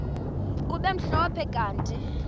kube mhlophe kanti